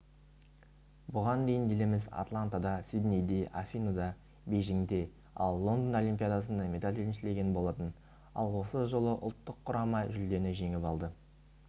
бұған дейін еліміз атлантада сиднейде афиныда бейжіңде ал лондон олимпиадасында медаль еншілеген болатын ал осы жолы ұлттық құрама жүлдені жеңіп алды